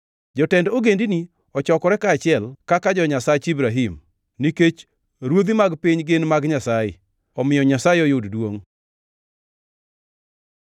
Jotend ogendini ochokore kaachiel kaka jo-Nyasach Ibrahim, nikech ruodhi mag piny gin mag Nyasaye; omiyo Nyasaye oyud duongʼ.